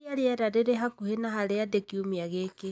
ũrĩa rĩera rĩrĩ hakuhĩ na harĩa ndĩ kiumia gĩkĩ